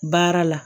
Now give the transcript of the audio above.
Baara la